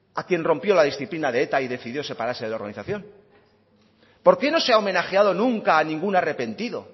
a quien rompió la disciplina de eta y decidió separarse de la organización por qué no se ha homenajeado nunca a ningún arrepentido